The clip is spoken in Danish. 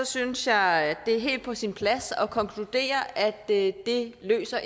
synes jeg at det er helt på sin plads at konkludere at det ikke løser